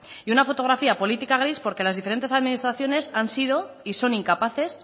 y una fotografía política gris porque las diferentes administraciones han sido y son incapaces